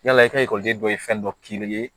Yala i ka ekɔliden dɔ ye fɛn dɔ k'i ye